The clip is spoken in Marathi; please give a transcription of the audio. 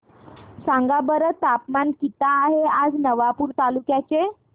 सांगा बरं तापमान किता आहे आज नवापूर तालुक्याचे